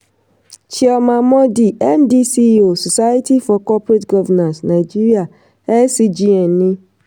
cs] chioma mordi md ceo society for corporate governance nigeria scgn ni.